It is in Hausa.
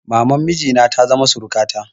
Maman miji na ta zama surukata.